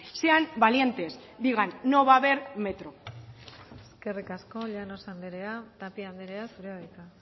sean valientes digan no va a haber metro eskerrik asko llanos andrea tapia andrea zurea da hitza